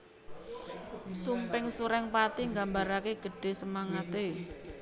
Sumping Surengpati nggambarake gedhe semangate